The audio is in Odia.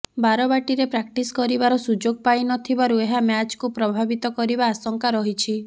ବାରବାଟୀରେ ପ୍ରାକ୍ଟିସ କରିବାର ସୁଯୋଗ ପାଇନଥିବାରୁ ଏହା ମ୍ୟାଚକୁ ପ୍ରଭାବିତ କରିବା ଆଶଙ୍କା ରହିଛି